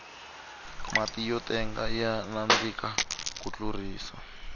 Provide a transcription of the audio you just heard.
matiyo tenga ya nandika ku tlurisa